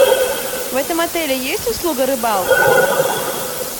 в этом отеле есть услуга рыбалки